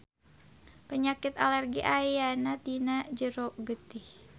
Panyakit alergi ayana dina jero getih.